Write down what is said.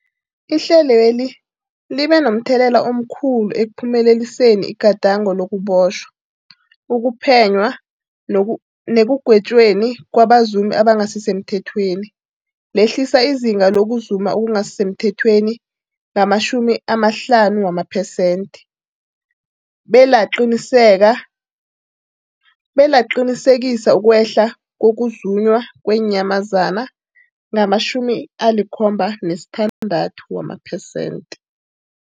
Ihlelweli libe momthelela omkhulu ekuphumeleliseni igadango lokubotjhwa, ukuphenywa nekugwetjweni kwabazumi abangasisemthethweni lehlisa izinga lokuzuma okungasi semthethweni ngama-50 wamaphesenthe, belaqinisekisa ukwehla kokuzunywa kweenyamazana ngama-76 wamaphesenthe.